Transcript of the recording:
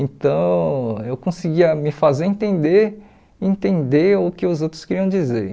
Então, eu conseguia me fazer entender entender o que os outros queriam dizer.